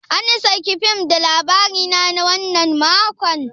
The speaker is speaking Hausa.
An saki fim da Labarina na wannan makon?